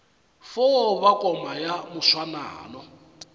fo ba koma ya moswanano